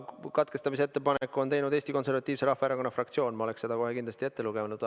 Katkestamise ettepaneku on teinud Eesti Konservatiivse Rahvaerakonna fraktsioon ja ma oleksin selle kohe kindlasti ka ette lugenud.